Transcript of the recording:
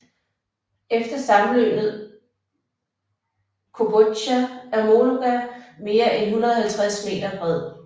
Efter sammenløbet Kobozja er Mologa mere end 150 m bred